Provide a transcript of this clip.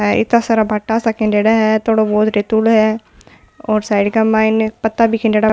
इता सारा भाटा सा खंडेड़ा है थोड़ो बहुत टैटूडो है और साइड के माइन पता भी खंडेडॉ --